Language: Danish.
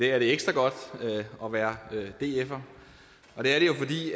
er det ekstra godt at være dfer og det er det jo fordi